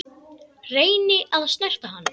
Reyni að snerta hann.